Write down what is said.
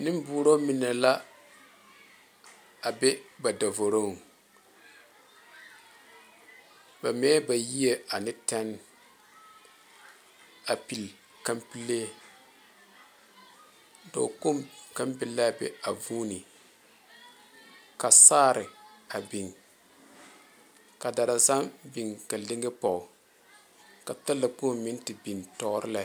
Neɛ boro mine la be ba da voroŋ ba mɛ ba yie ne tene a peli kampele dɔɔ kpoŋ kaŋa be la a be a fone ka saare a big ka daalaŋ saŋa big ka leŋe poɔ ka taa la kpoŋ meŋ te beŋ tuoro lɛ.